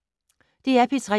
DR P3